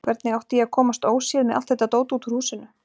Hvernig átti ég að komast óséð með allt þetta dót út úr húsinu?